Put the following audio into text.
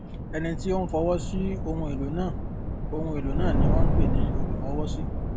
ẹni tí ó ń fọwọ sí ohun èlò náà ohun èlò náà ni wón ń pè ní olúfọwọsí